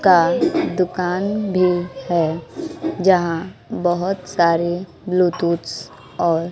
का दुकान भी है जहां बहुत सारे ब्लूटूथ्स और--